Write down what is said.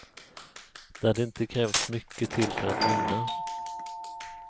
Det hade inte krävts mycket till för att vinna.